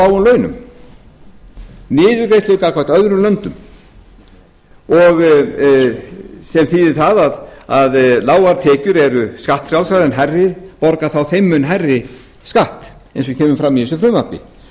lágum launum niðurgreiðslu gagnvart öðrum löndum sem þýðir að lágar tekjur eru skattfrjálsar en hærri tekjur borga þeim mun hærri skatt eins og kemur fram í þessu frumvarpi